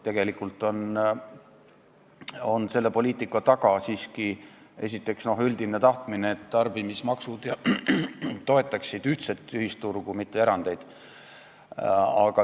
Tegelikult on selle poliitika taga siiski üldine tahtmine, et tarbimismaksud toetaksid ühtset ühisturgu, mitte erandeid.